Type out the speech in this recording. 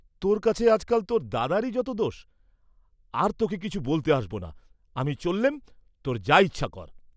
তোর কাছে আজ কাল তোর দাদারি যত দোষ, আর তোকে কিছু বলতে আসবনা, আমি চললেম, তোর যা ইচ্ছা কর।